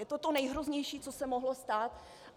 Je to to nejhroznější, co se mohlo stát.